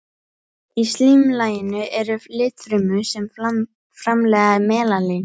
Í slímlaginu eru litfrumur sem framleiða melanín.